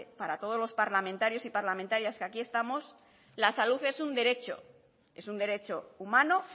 para todos los parlamentarios y parlamentarias que aquí estamos la salud es un derecho es un derecho humano